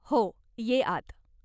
हो, ये आत!